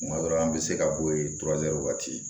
Kuma dɔ la an bɛ se ka bɔ yen wagati